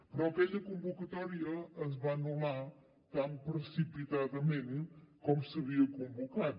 però aquella convocatòria es va anul·lar tan precipitadament com s’havia convocat